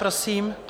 Prosím.